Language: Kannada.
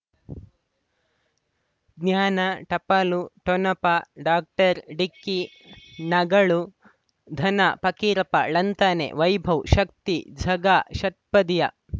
ಜ್ಞಾನ ಟಪಾಲು ಠೊಣಪ ಡಾಕ್ಟರ್ ಢಿಕ್ಕಿ ಣಗಳು ಧನ ಫಕೀರಪ್ಪ ಳಂತಾನೆ ವೈಭವ್ ಶಕ್ತಿ ಝಗಾ ಷಟ್ಪದಿಯ